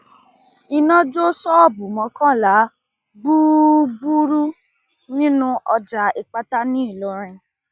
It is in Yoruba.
iná jó ṣọọbù mọkànlá gbúgbúrú nínú ọjà ìpátá ńìlọrin